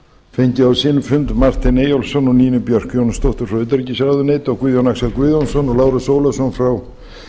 fengið á sinn fund martin eyjólfsson og nínu björk jónsdóttur frá utanríkisráðuneyti og guðjón axel guðjónsson og lárus ólafsson frá